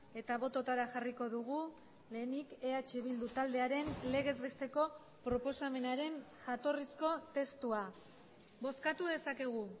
eta bototara jarriko dugu lehenik eh bildu taldearen legez besteko proposamenaren jatorrizko testua bozkatu dezakegu